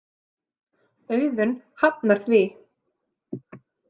Auðun hafnar því.